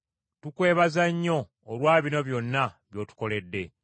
Tukwebaza nnyo olwa bino byonna by’otukoledde.